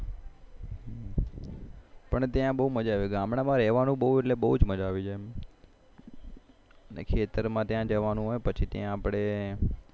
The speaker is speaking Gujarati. પણ ત્યાં બહુ મજા આવી જાય ખેતર માં ત્યાં જવાનું હોય પછી ત્યાં આપડે